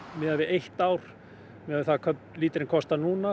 miðað við eitt ár miðað við hvað líterinn kostar núna